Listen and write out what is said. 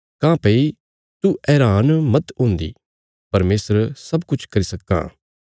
काँह्भई तू हैरान मत हुन्दी परमेशर सब किछ करी सक्कां